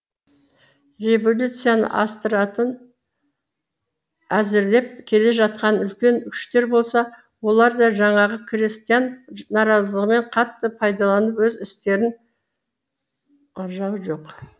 революцияны әзірлеп келе жатқан үлкен күштер болса олар да жаңағы крестьян наразылығымен қатты пайдаланып өз істерін ар жағы жоқ